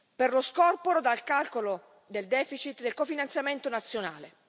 per lo scorporo dal calcolo del deficit del cofinanziamento nazionale.